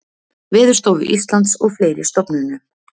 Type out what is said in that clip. Veðurstofu Íslands og fleiri stofnunum.